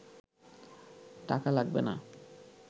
টাকা লাগবে না